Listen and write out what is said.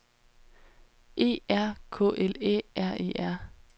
E R K L Æ R E R